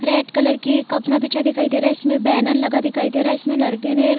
red colour की कपना बिछा दिखाई दे रहा है इसमें बैनर लगा दिखाई दे रहा है इसमें लड़के ने --